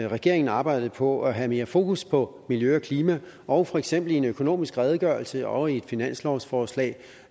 regeringen arbejdede på at have mere fokus på miljø og klima og for eksempel i en økonomisk redegørelse og i et finanslovsforslag